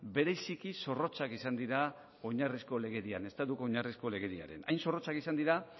bereziki zorrotzak izan dira oinarrizko legedian estatuko oinarrizko legedian hain zorrotzak izan dira